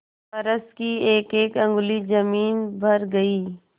फर्श की एकएक अंगुल जमीन भर गयी